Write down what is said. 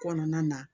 Kɔnɔna na